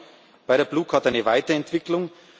Wir brauchen bei der Blue Card eine Weiterentwicklung.